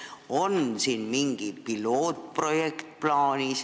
On siin plaanis mingi pilootprojekt?